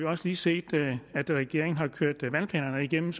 også lige set at regeringen har kørt vandplanerne igennem